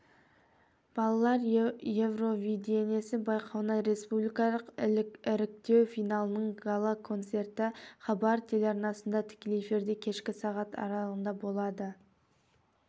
балалар евровидениесі байқауына республикалық іріктеу финалының гала концерті хабар телеарнасында тікелей эфирде кешкі сағат аралығында болады